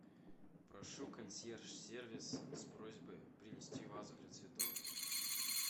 прошу консьерж сервис с просьбой принести вазу для цветов